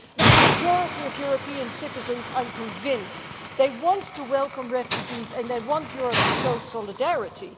But the majority of European citizens, I am convinced, want to welcome refugees and they want Europe to show solidarity.